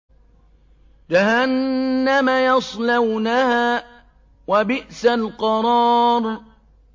جَهَنَّمَ يَصْلَوْنَهَا ۖ وَبِئْسَ الْقَرَارُ